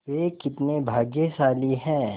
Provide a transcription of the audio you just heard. वे कितने भाग्यशाली हैं